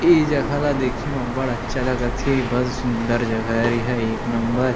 ई जगह ल देखे म अब्बड़ अच्छा लगा थे बढ़ सुंदर जगह हरे एहा एक नंबर --